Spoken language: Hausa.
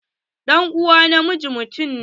Ɗan'uwa na mijin mutum ne.